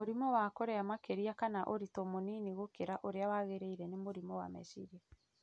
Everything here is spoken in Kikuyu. Mũrimũ wa kũrĩa makĩria kana wa ũritũ mũnini gũkĩra ũrĩa wagĩrĩire nĩ mũrimũ wa meciria